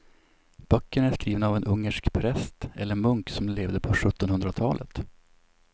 Böckerna är skrivna av en ungersk präst eller munk som levde på sjuttonhundratalet.